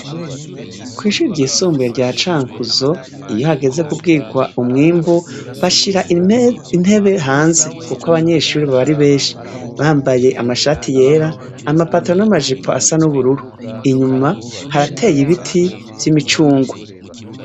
Kw'ishure ryisumbuye rya Cankuzo, iyo hageze kubwirwa umwimbu, bashira intebe hanze kuko abanyeshure baba ari benshi bambaye amashati yera, amapantaro n'amajipo asa n'ubururu. Inyuma harateye ibiti vy'imicungwe.